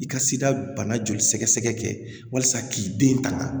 I ka sida bana joli sɛgɛsɛgɛ kɛ walasa k'i den kalan